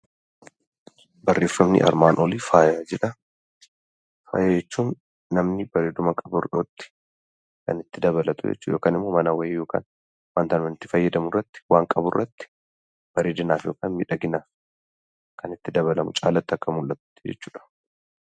Barreeffamni armaan olii faaya jedha. Faaya jechuun namni bareeduma qabutti kan itti dabalatu jechuudha yookaan ammoo mana wayii kan itti fayyadamu irratti bareedinaaf yookaan miidhaginaa caalaatti akka mul'atu jechuudha.